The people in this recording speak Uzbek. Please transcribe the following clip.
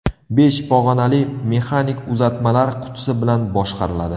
Besh pog‘onali mexanik uzatmalar qutisi bilan boshqariladi.